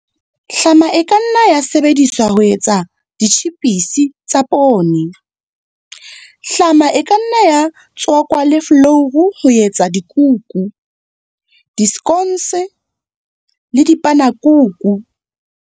Hlama e ka nna ya sebediswa ho etsa ditjhipise tsa poone. Hlama e ka nna ya tswakwa le folouru ho etsa dikuku, disekhonse le dipanekuku.